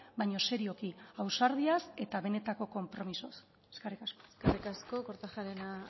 baina serioki ausardiaz eta benetako konpromisoz eskerrik asko eskerrik asko kortajarena